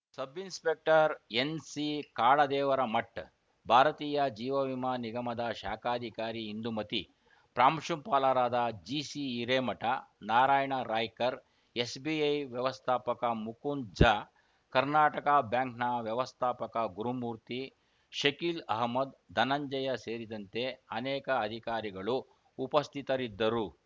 ಸಬ್‌ inspector NC Kadadevaramath ಭಾರತೀಯ ಜೀವವಿಮಾ ನಿಗಮದ ಶಾಖಾಧಿಕಾರಿ ಇಂದುಮತಿ ಪ್ರಾಂಶುಪಾಲರಾದ ಜಿಸಿ ಹಿರೇಮಠ ನಾರಾಯಣ ರಾಯ್ಕರ್‌ ಎಸ್‌ಬಿಐ ವ್ಯವಸ್ಥಾಪಕ ಮುಕುಂದ್‌ ಝಾ ಕರ್ಣಾಟಕ ಬ್ಯಾಂಕ್‌ ವ್ಯವಸ್ಥಾಪಕ ಗುರುಮೂರ್ತಿ ಶಕೀಲ್‌ ಅಹಮ್ಮದ್‌ ಧನಂಜಯ ಸೇರಿದಂತೆ ಅನೇಕ ಅಧಿಕಾರಿಗಳು ಉಪಸ್ಥಿತರಿದ್ದರು